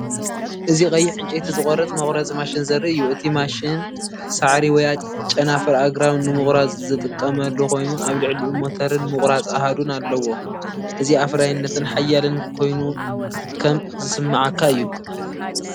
እዚ ቀይሕ ዕንጨይቲ ዝቖርጽ/መቑረጺ ማሽን ዘርኢ እዩ። እቲ ማሽን ሳዕሪ ወይ ጨናፍር ኣግራብ ንምቑራጽ ዝጥቀመሉ ኮይኑ ኣብ ልዕሊኡ ሞተርን ምቑራጽ ኣሃዱን ኣለዎ። እዚ ኣፍራይነትን ሓያልን ኮይነ ከም ዝስምዓካ እዩ።